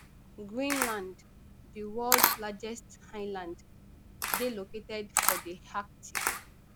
greenland di world largest island dey located for di arctic